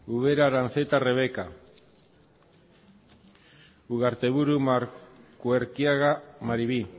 ubera aranzeta rebeka ugarteburu markuerkiaga maribi